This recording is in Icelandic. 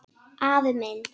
Afi minn